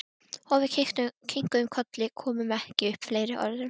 Og við kinkuðum kolli, komum ekki upp fleiri orðum.